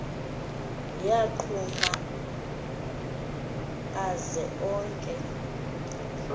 yagquma aze onke